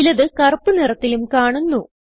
ചിലത് കറുപ്പ് നിറത്തിലും കാണുന്നു